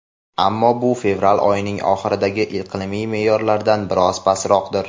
Ammo bu fevral oyining oxiridagi iqlimiy me’yorlardan biroz pastroqdir.